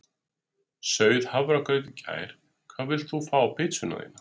Sauð hafragraut í gær Hvað vilt þú fá á pizzuna þína?